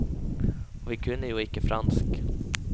Og vi kunne jo ikke fransk.